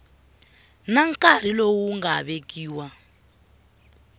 na nkarhi lowu nga vekiwa